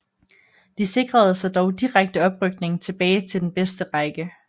De sikrede sig dog direkte oprykning tilbage til den bedste række